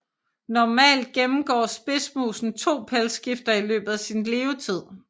Normalt gennemgår spidsmusen to pelsskifter i løbet af sin levetid